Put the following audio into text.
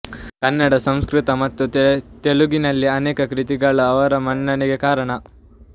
ಕನ್ನಡ ಸಂಸ್ಕೃತ ಮತ್ತು ತೆಲುಗಿನಲ್ಲಿ ಅನೇಕ ಕೃತಿಗಳು ಅವರ ಮನ್ನಣೆಗೆ ಕಾರಣ